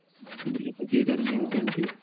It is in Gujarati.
બીજું પછી હાજર ને incentive